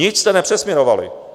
Nic jste nepřesměrovali.